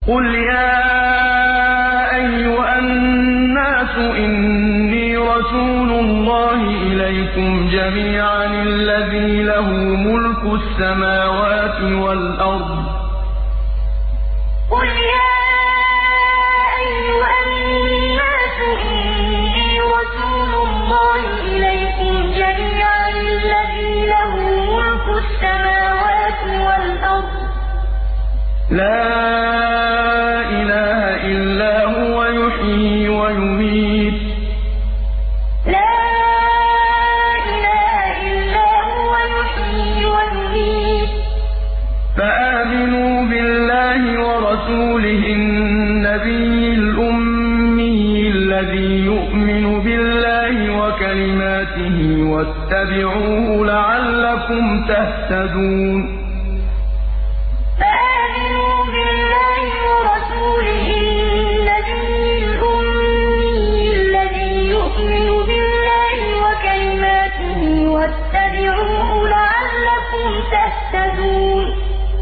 قُلْ يَا أَيُّهَا النَّاسُ إِنِّي رَسُولُ اللَّهِ إِلَيْكُمْ جَمِيعًا الَّذِي لَهُ مُلْكُ السَّمَاوَاتِ وَالْأَرْضِ ۖ لَا إِلَٰهَ إِلَّا هُوَ يُحْيِي وَيُمِيتُ ۖ فَآمِنُوا بِاللَّهِ وَرَسُولِهِ النَّبِيِّ الْأُمِّيِّ الَّذِي يُؤْمِنُ بِاللَّهِ وَكَلِمَاتِهِ وَاتَّبِعُوهُ لَعَلَّكُمْ تَهْتَدُونَ قُلْ يَا أَيُّهَا النَّاسُ إِنِّي رَسُولُ اللَّهِ إِلَيْكُمْ جَمِيعًا الَّذِي لَهُ مُلْكُ السَّمَاوَاتِ وَالْأَرْضِ ۖ لَا إِلَٰهَ إِلَّا هُوَ يُحْيِي وَيُمِيتُ ۖ فَآمِنُوا بِاللَّهِ وَرَسُولِهِ النَّبِيِّ الْأُمِّيِّ الَّذِي يُؤْمِنُ بِاللَّهِ وَكَلِمَاتِهِ وَاتَّبِعُوهُ لَعَلَّكُمْ تَهْتَدُونَ